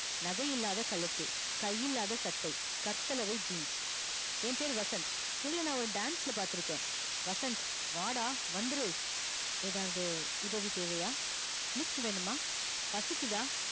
நகை இல்லாத கழுத்து கையில்லாத சட்டை கர்சலவை jeans ய பேர் வசந்த் உங்கள ஒரு dance ல பாத்து இருக்கேன வசந்த் வாடா வந்துரு எதாவது உதவி தேவையா lift வேணுமா பசிக்கிதா